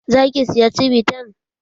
Za ki siya cibitan?